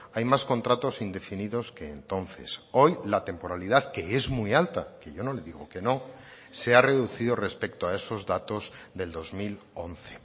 hay más contratos indefinidos que entonces hoy la temporalidad que es muy alta que yo no le digo que no se ha reducido respecto a esos datos del dos mil once